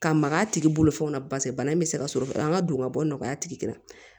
Ka maga a tigi bolofɛnw na paseke bana in bɛ se ka sɔrɔ an ka don ka bɔ nɔgɔya tigi la